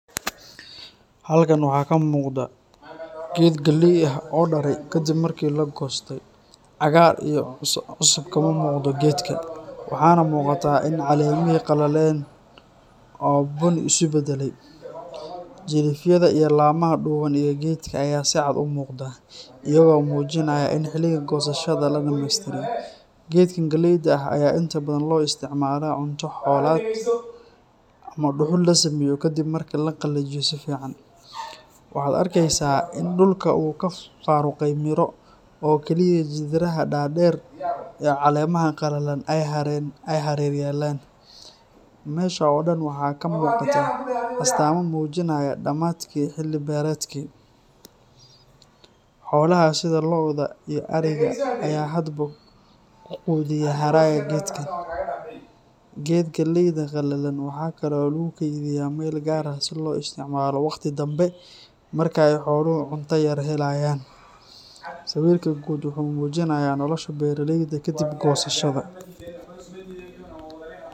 Halkan waxaa ka muuqda geed galley ah oo daray, kadib markii la goostay. Cagaar iyo cusub kama muuqdo geedka, waxaana muuqata in caleemihii qalaleen oo bunni isu badalay. Jilifyada iyo laamaha dhuuban ee geedka ayaa si cad u muuqda, iyagoo muujinaya in xilliga goosashada la dhammeystiray. Geedkan galleyda ah ayaa inta badan loo isticmaalaa cunto xoolaad ama dhuxul la sameeyo kadib marka la qalajiyo si fiican. Waxaad arkaysaa in dhulka uu ka faaruqay miro, oo kaliya jirridaha dhaadheer iyo caleemaha qalalan ay hareer yaallaan. Meesha oo dhan waxaa ka muuqata astaamo muujinaya dhammaadkii xilli beereedkii. Xoolaha sida lo’da iyo ariga ayaa hadba ku quudiya haraaga geedkan. Geed galeyda qalalan waxa kale oo lagu kaydiyaa meel gaar ah si loo isticmaalo waqti dambe marka ay xooluhu cunto yar helayaan. Sawirka guud wuxuu muujinayaa nolosha beeraleyda kadib goosashada.